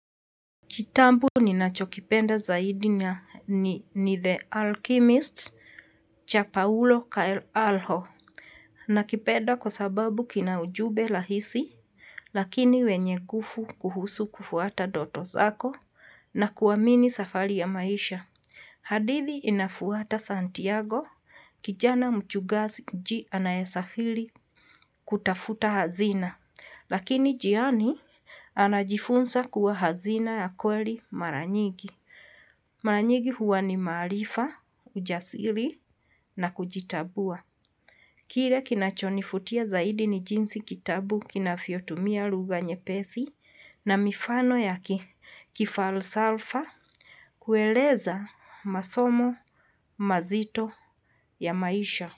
Kitabu ninachokipenda zaidi ni The Alchemist cha Paulo Coelho. Nakipenda kwa sababu kina ujumbe rahisi, lakini wenye nguvu kuhusu kufuata ndoto zako na kuamini safari ya maisha. Hadithi inafuata Santiago, kijana mchugaji anayesafiri kutafuta hazina. Lakini njiani anajifunza kuwa hazina ya kweli mara nyingi. Mara nyingi huwa ni maarifa, ujasiri na kujitambua. Kile kinachonivutia zaidi ni jinsi kitabu kinavyotumia lugha nyepesi na mifano ya kifalsafa kueleza masomo mazito ya maisha.